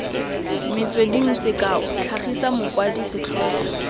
metsweding sekao tlhagisa mokwadi setlhogo